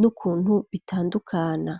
n'ukuntu bitandukana.